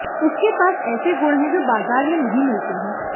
उसके पास ऐसे गुण है जो बाजार में नहीं मिलते हैं